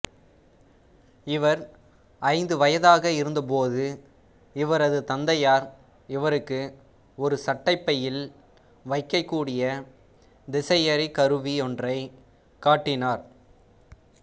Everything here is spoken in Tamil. இவர் ஐந்து வயதாக இருந்தபோது இவரது தந்தையார் இவருக்கு ஒரு சட்டைப்பையில் வைக்கக்கூடிய திசையறி கருவியொன்றைக் காட்டினார்